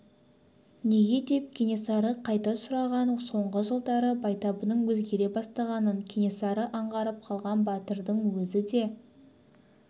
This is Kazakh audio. неге деп кенесары қайта сұраған соңғы жылдары байтабынның өзгере бастағанын кенесары аңғарып қалған батырдың өзі де